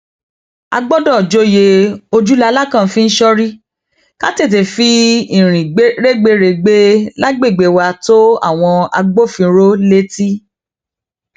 a gbọdọ joyè ojú làlákàn fi ń sorí ká tètè fi irin rẹgbẹrẹgbẹ lágbègbè wa tó àwọn agbófinró létí